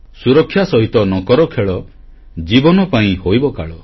ସୁରକ୍ଷା ସହିତ ନ କର ଖେଳ ଜୀବନ ପାଇଁ ହୋଇବ କାଳ